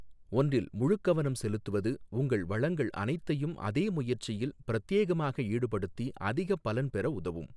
ஒன்றில் முழுக்கவனம் செலுத்துவது, உங்கள் வளங்கள் அனைத்தையும் அதே முயற்சியில் பிரத்யேகமாக ஈடுபடுத்தி அதிகப் பலன் பெற உதவும்.